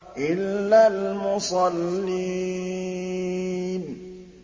إِلَّا الْمُصَلِّينَ